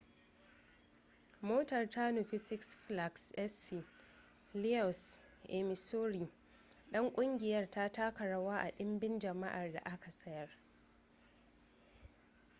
motar ta nufi six flags st louis a missouri don kungiyar ta taka rawa ga dimbin jama'ar da aka sayar